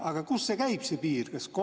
Aga kust käib see piir?